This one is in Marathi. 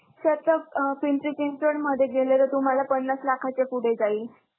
Sir पिंपरी चिंचवडमध्ये गेलेले, तुम्हांला पन्नास लाखाचे पुढे जाईल.